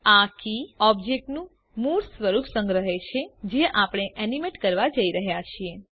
આ કી ઓબ્જેક્ટનું મૂળ સ્વરૂપ સંગ્રહે છે જે આપણે એનીમેટ કરવા જઈ રહ્યા છીએ